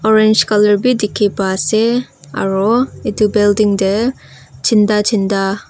orange colour bi dikhi pa ase aro edu building tae chinda chinda.